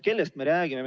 Kellest me räägime?